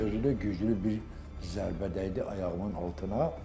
Özü də güclü bir zərbə dəydi ayağımın altına.